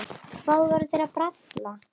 Hvað voru þeir að bralla?